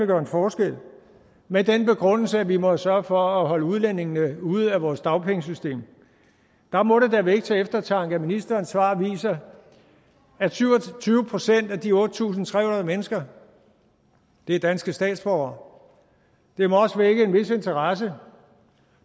gøre forskel med den begrundelse at vi må sørge for at holde udlændingene ude af vores dagpengesystem der må det da vække til eftertanke at ministerens svar viser at syv og tyve procent af de otte tusind tre hundrede mennesker er danske statsborgere det må også vække en vis interesse